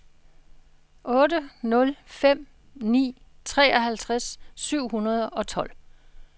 otte nul fem ni treoghalvfjerds syv hundrede og tolv